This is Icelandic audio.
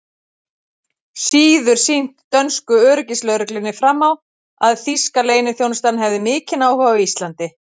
síður sýnt dönsku öryggislögreglunni fram á, að þýska leyniþjónustan hefði mikinn áhuga á Íslandi.